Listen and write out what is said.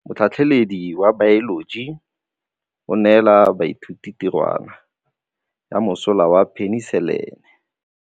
Motlhatlhaledi wa baeloji o neela baithuti tirwana ya mosola wa peniselene.